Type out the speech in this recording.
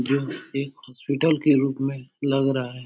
यह एक हॉस्पिटल के रूप में लग रहा है।